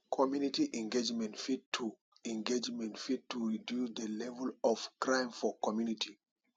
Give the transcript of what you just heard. community engagement fit to engagement fit to reduce de level of crime for community